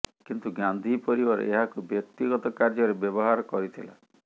କିନ୍ତୁ ଗାନ୍ଧୀ ପରିବାର ଏହାକୁ ବ୍ୟକ୍ତିଗତ କାର୍ଯ୍ୟରେ ବ୍ୟବହାର କରିଥିଲା